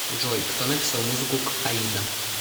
джой кто написал музыку к аида